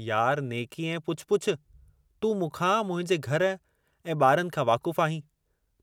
यार, नेकी ऐं पुछ पुछ, तूं मूंखा, मुंहिंजे घर ऐं ॿारनि खां वाक़ुफ़ु आहीं,